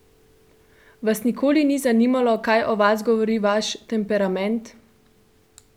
Vas ni nikoli zanimalo, kaj o vas govori vaš temperament?